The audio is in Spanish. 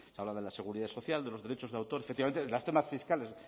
habla de la seguridad social de los derechos de autor efectivamente de los temas fiscales